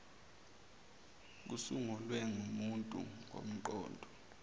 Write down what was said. kokusungulwe ngumuntu ngomqondo